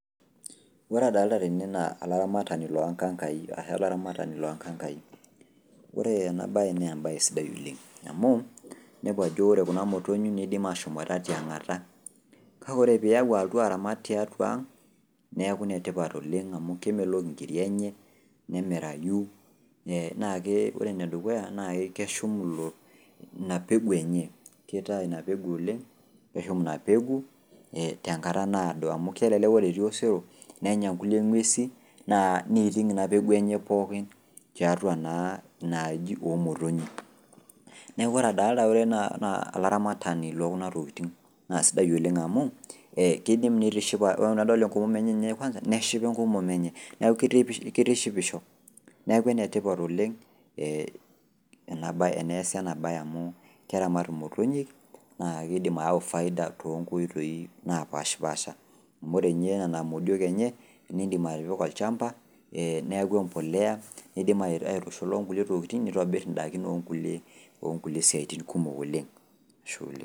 Ore adolita tene naa olaramatani loonkankai ashu olaramatani loonkankai. Ore ena baye neembaye sidai oleng' amu inepu ajo ore kuna motonyi meidim ashomoita tiang'ata. Kake ore piau alotu aramat tiatua ang' neaku netipat oleng' amu kemelok inkiri enye, nemirayu ee nakee enedukuya naake keshum inapegu enye, keitaa ina pegu oleng' neshum ina pegu tenkata naado amu kelelek kore etii osero nenya nkulie ng'uesi naa neiting' ina pegu enye pookin tiatua naa inaaji oomotonyi. Neaku ore adolta ore naa olaramatani lookuna tokitin naa sidai oleng' amu ee keidim neitishipa, ore nadol enkomom enye kwanza neshipa enkomom enye neaku keitishipisho. Neaku enetipat oleng' ee ena baye, eneasi enabaye amuu keramat imotonyi naakeidim aau  faida tonkoitoi napashpaasha. Amu ore ninye nena modiok enye nindim atipika olchamba [ee] neaku empolea neidim aitushula onkulie tokitin neitobirr indakin oonkulie siatin kumok, oleng' ashe. oleng.